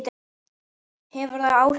Hefur það áhrif í kvöld?